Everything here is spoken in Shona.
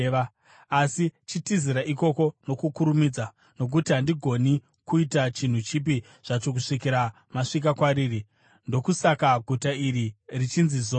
Asi chitizirai ikoko nokukurumidza, nokuti handigoni kuita chinhu chipi zvacho kusvikira masvika kwariri.” (Ndokusaka guta iro richinzi Zoari.)